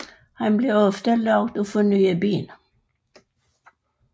Han bliver også lovet at få nye ben